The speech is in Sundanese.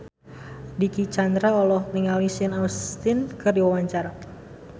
Dicky Chandra olohok ningali Sean Astin keur diwawancara